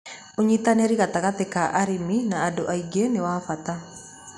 ũnyitanĩri gatagatĩ ka arĩmi na andũ angĩ nĩ wa bata